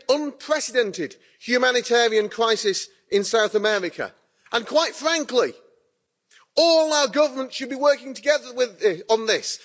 is an unprecedented humanitarian crisis in South America and, quite frankly, all our governments should be working together on this.